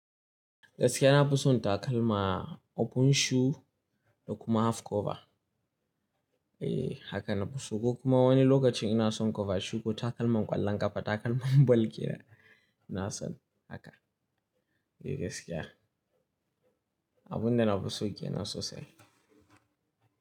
Gaskiya na fi son takalma open shoe da kuma half cover. Eh haka na fi so. Ko kuma wani lokacin ina son cover shoe ko takalman ƙwallon ƙafa takalma ball kenan ina son haka. Eh gaskiya. Abun da na fi so kenan sosai.